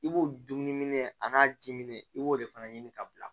I b'o dumuni a n'a jiminɛn i b'o de fana ɲini ka bila